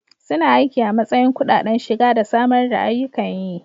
Suna aiki a matsayin kudaden shiga da samar da ayyukan yi.